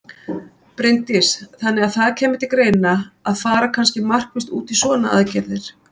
Bryndís: Þannig að það kæmi til greina að fara kannski markvisst út í svona aðgerðir?